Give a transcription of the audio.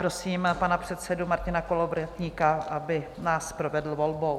Prosím pana předsedu Martina Kolovratníka, aby nás provedl volbou.